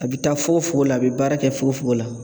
A bɛ taa fogofogo la a bɛ baara kɛ fogofogo la.